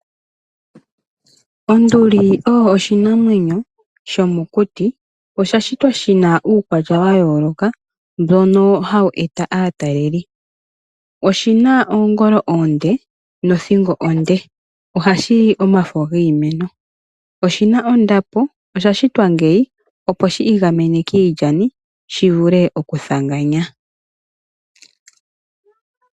Onduli oyo oshinamwenyo shomokuti . Osha shitwa shina uukwatya wayooloka mbono hawu eta aatalelipo. Oshina oongolo oonde nothingo onde . Ohashi li omafo giimeno. Oshina ondapo, osha shitwa ngeyi opo shiigamene kiilyani shivule okuthanganya.